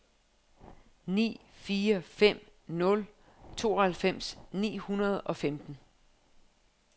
ni fire fem nul tooghalvfems ni hundrede og femten